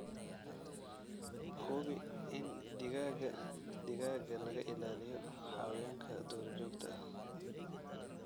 Hubi in digaagga digaaga laga ilaaliyo xayawaanka duurjoogta ah.